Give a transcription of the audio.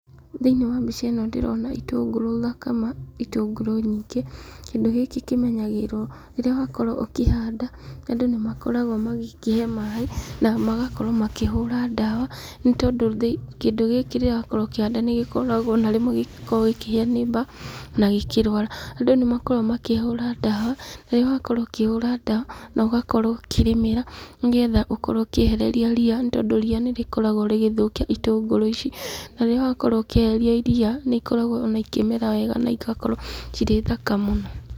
Thĩinĩ wa mbica ĩno ndĩrona itũngũrũ thaka ma, itũngũrũ nyingĩ, kĩndũ gĩkĩ kĩmenyagĩrĩrwo rĩrĩa wakorwo ũkĩhanda, andũ nĩ makoragwo magĩkĩhe maĩ, na magakorwo makĩhũra ndawa, nĩ tondũ kĩndũ gĩkĩ rĩrĩa wakorwo ũkĩhanda nĩ gĩkoragwo ona rĩmwe gĩgĩkorwo gĩkĩhĩa nĩ mbaa, na gĩkĩrwara, andũ nĩ makoragwo makĩhũra ndawa, rĩrĩa wakorwo ũkĩhũra ndawa, nogakorwo ũkĩrĩmĩra, nĩgetha ũkorwo ũkĩehererio ria, nĩ tondũ ria nĩ rĩkoragwo rĩgĩthũkia itũngũrũ ici, na rĩrĩa wakorwo ũkĩeheria ria, nĩ ikoragwo ona ikĩmera wega na igakorwo cirĩ thaka mũno.